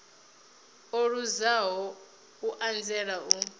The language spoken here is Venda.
o luzaho u anzela u